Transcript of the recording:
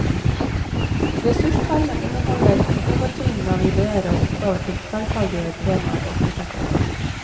Ressurspermen inneholder hovedtyngden av ideer og oppgaver til tverrfaglige temaer og prosjektarbeid.